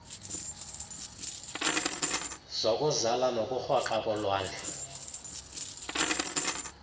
zokuzala nokurhoxa kolwandle